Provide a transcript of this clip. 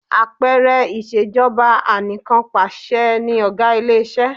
Àpẹẹrẹ ìṣejọba ànìkànpaṣẹ ni ọ̀gá ilé iṣẹ́.